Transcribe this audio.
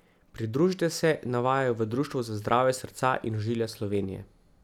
Pridružite se, navajajo v Društvu za zdravje srca in ožilja Slovenije.